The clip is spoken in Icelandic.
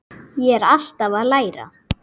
Ég er alltaf að læra.